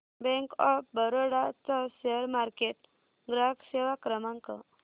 bank of Baroda चा share market ग्राहक सेवा क्रमांक